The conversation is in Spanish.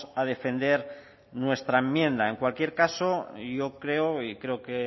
a defender nuestra enmienda en cualquier caso yo creo y creo que